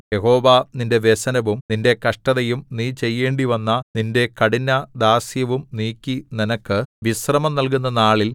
യഹോവ നിന്റെ വ്യസനവും നിന്റെ കഷ്ടതയും നീ ചെയ്യേണ്ടിവന്ന നിന്റെ കഠിനദാസ്യവും നീക്കി നിനക്ക് വിശ്രമം നല്കുന്ന നാളിൽ